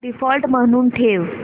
default म्हणून ठेव